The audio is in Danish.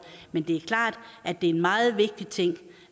men det er klart at det er en meget vigtig ting